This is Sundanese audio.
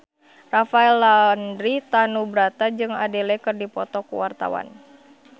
Rafael Landry Tanubrata jeung Adele keur dipoto ku wartawan